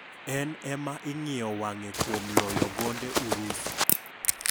En ema ing'iyo wang'e kuom loyo gonde Urusi.